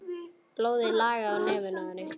Blóðið lagaði úr nefinu á henni.